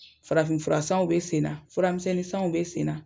Farafinfura sanw bɛ sen furamisɛnnin sanw bɛ senna